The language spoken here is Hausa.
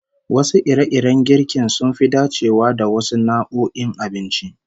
Wasu ire-iren girkin sun fi dacewa da wasu nau'o'in abincin